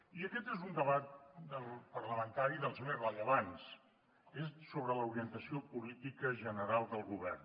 i aquest és un debat parlamentari dels més rellevants és sobre l’orientació política general del govern